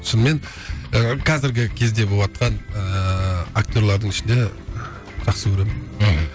шынымен ыыы қазіргі кезде болыватқан ыыы актерлардың ішінде жақсы көремін мхм